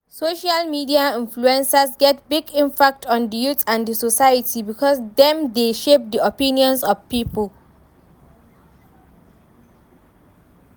Social media influencers get big impact on di youth and di society because dem dey shape di opinions of people.